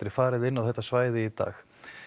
farið inn á þetta svæði í dag